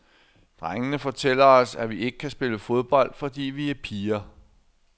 Drengene fortæller os, at vi ikke kan spille fodbold, fordi vi er piger.